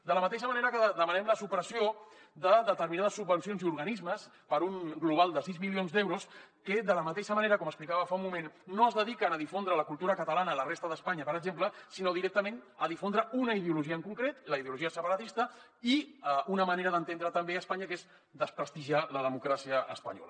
de la mateixa manera que demanem la supressió de determinades subvencions i organismes per un global de sis milions d’euros que de la mateixa manera com explicava fa un moment no es dediquen a difondre la cultura catalana a la resta d’espanya per exemple sinó directament a difondre una ideologia en concret la ideologia separatista i una manera d’entendre també espanya que és desprestigiar la democràcia espanyola